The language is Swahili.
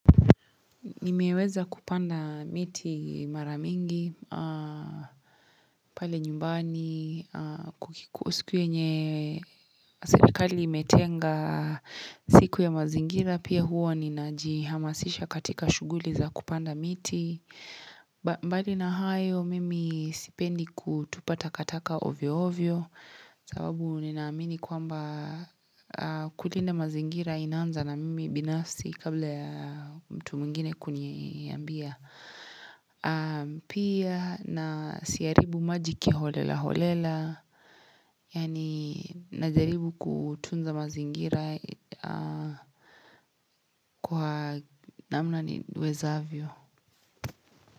Nimeweza kupanda miti mara mingi, pale nyumbani, siku yenye serikali imetenga siku ya mazingira. Pia huwa ninaji hamasisha katika shughuli za kupanda miti. Mbali na hayo, mimi sipendi kutupa takataka ovyo ovyo. Sababu nina amini kwamba kulinda mazingira inaanza na mimi binasi kabla ya mtu mwingine kuniambia Pia na siharibu maji kiholela holela Yaani najaribu kutunza mazingira kwa namna niwezavyo.